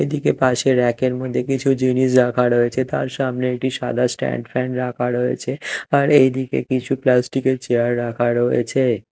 এদিকে পাশে ব়্যাক -এর মধ্যে কিছু জিনিস রাখা রয়েছে তার সামনে একটি সাদা স্ট্যান্ড ফ্যান রাখা রয়েছে আর এইদিকে কিছু প্লাস্টিক -এর চেয়ার রাখা রয়েছে।